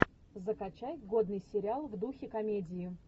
закачай годный сериал в духе комедии